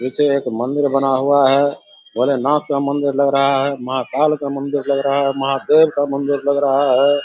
नीचे एक मंदिर बना हुआ है भोलेनाथ का मंदिर लग रहा है महाकाल का मंदिर लग रहा है महादेव का मंदिर लग रहा है ।